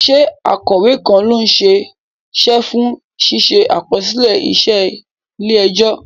Ṣé akọ̀wé kan ló ṣe é ṣe fún ṣíṣe àkọsílẹ̀ iṣẹ́ ilé ẹjọ́?